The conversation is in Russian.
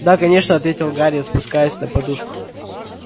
да конечно ответил гарри спускаясь на подушку